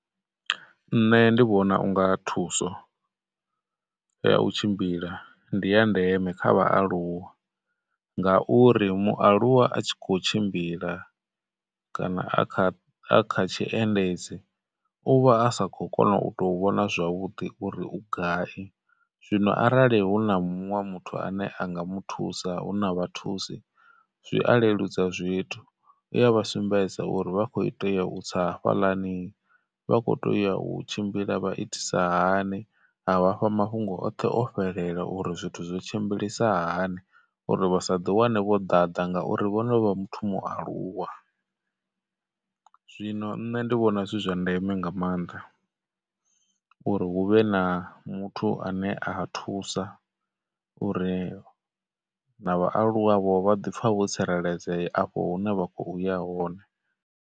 Nṋe ndi vhona u nga thuso ya u tshimbila ndi ya ndeme kha vhaaluwa, ngauri mualuwa a tshi khou tshimbila, kana a kha, a kha tshiendedzi, u vha a sa khou kona u tou vhona zwavhuḓi uri u gai. Zwino arali hu na muṅwe muthu ane a nga mu thusa, huna vhathusi zwi a leludza zwithu u ya vha sumbedza uri vha khou tea u tsa hafhalani, vha khou teya u tshimbila vha itisa hani, a vhafha mafhungo oṱhe o fhelela uri zwithu zwi tshimbilisa hani uri vha sa ḓi wane vho ḓaḓa ngauri, vhonovha muthu mualuwa, zwino nṋe ndi vhona zwi zwa ndeme nga maanḓa uri hu vhe na muthu ane a thusa uri na vhaaluwavho vha ḓi pfha vho tsireledzea afho hune vha khou ya hone.